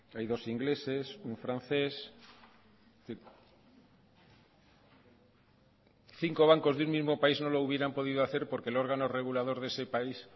hay dos ingleses un francés es decir cinco bancos de un mismo país no lo hubieran podido hacer porque el órgano regulador de ese